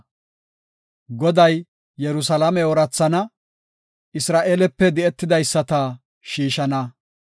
Goday Yerusalaame oorathana; Isra7eelepe di7etidaysata shiishana.